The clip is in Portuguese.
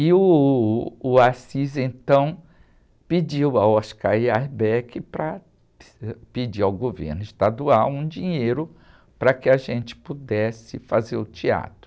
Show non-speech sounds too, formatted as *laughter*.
E uh, o, *unintelligible* então, pediu ao *unintelligible* para *unintelligible* pedir ao governo estadual um dinheiro para que a gente pudesse fazer o teatro.